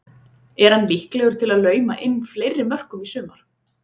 Er hann líklegur til að lauma inn fleiri mörkum í sumar?